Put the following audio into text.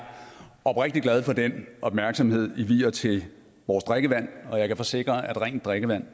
oprigtig glad for den opmærksomhed i vier til vores drikkevand og jeg kan forsikre at rent drikkevand